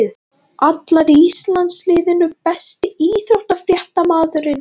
Allar í landsliðinu Besti íþróttafréttamaðurinn?